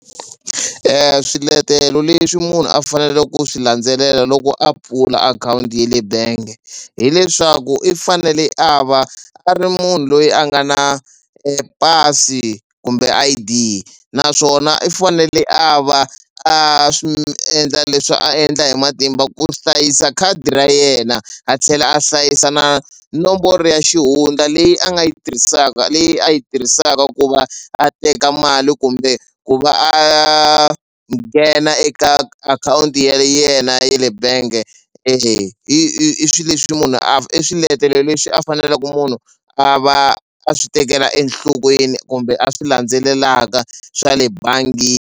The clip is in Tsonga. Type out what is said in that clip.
Swiletelo leswi munhu a faneleke ku swi landzelela loko a pfula akhawunti ye le benge hileswaku i fanele a va a ri munhu loyi a nga na pasi kumbe I_D naswona i fanele a va a swi endla leswi a endla hi matimba ku hlayisa khadi ra yena a tlhela a hlayisa na nomboro ya xihundla leyi a nga yi tirhisaka leyi a yi tirhisaka ku va a teka mali kumbe ku va a nghena eka akhawunti ya yena yale bank-e i swi leswi munhu a i swiletelo leswi a fanelaku munhu a va a swi tekela enhlokweni kumbe a swi landzelelaka swa le .